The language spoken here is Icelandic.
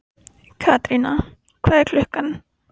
Katerína, hvað er klukkan?